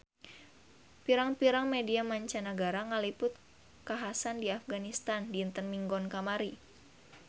Pirang-pirang media mancanagara ngaliput kakhasan di Afganistan dinten Minggon kamari